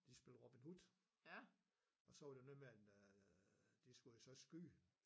De spillede Robin Hood og så var det noget man øh de skullle jo så skyde